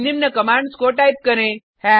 अब निम्न कमांड्स को टाइप करें